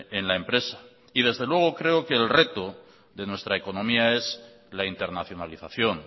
en la empresa y desde luego creo que el reto de nuestra economía es la internacionalización